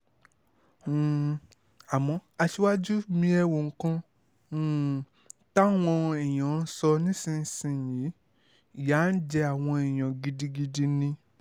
um àmọ́ aṣíwájú mi ẹ́ wo nǹkan um táwọn èèyàn ń sọ nísìnyìí ìyà ń jẹ àwọn èèyàn gidigidi ni